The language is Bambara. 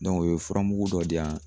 o ye furamugu dɔ di yan